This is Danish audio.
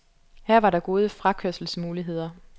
Her var der gode frakørselsmuligheder.